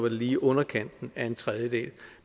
lige i underkanten af en tredjedel